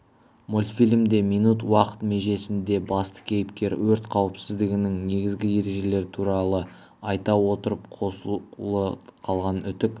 мультфильмде минут уақыт межесінде басты кейіпкер өрт қауіпсіздігінің негізгі ережелері туралы айта отырып қосулы қалған үтік